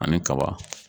Ani kaba